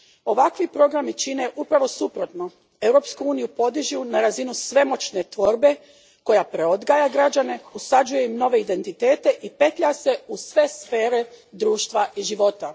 Ovakvi programi čine upravo suprotno Europsku uniju podižu na razinu svemoćne tvorbe koja preodgaja građane, usađuje im nove identitete i petlja se u sve sfere društva i života.